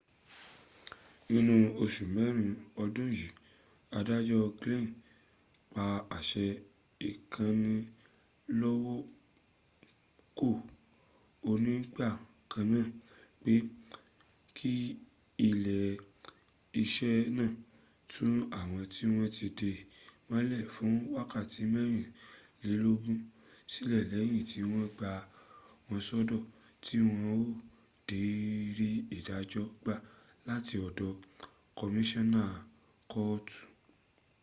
nínú osù kẹrin ọdún yí adájó glynn pa àṣę ìkánilọ́wọ́kò onígbàkanná pé kí ilé iṣẹ́ náà tú àwọn tí wọ́n tí dè mọ́lẹ̀ fún wákàtí mẹ́rìnlélógún sílẹ̀ lẹ́yìn tí wọ́n gbà wọ́n sọ́dọ̀ tí wọn ò dę rí ìdájọ́ gbà láti ọ̀dọ̀ kọmíṣọ́nà kọ́ọ̀tú